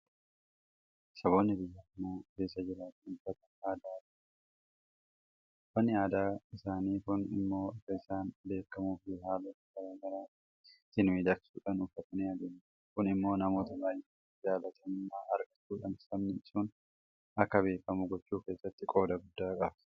Saboonni biyya kana keessa jiraatan uffata aadaa garaa garaa qabu. Uffanni aadaa isaanii kun immoo akka isaaniif beekamuuf haalota garaa garaatiin miidhagsuudhaan uffatanii adeemu. Kun immoo namoota baay'eedhaan jaalatamummaa argachuudhaan sabni sun akka beekamu gochuu keessatti qooda guddaa qaba.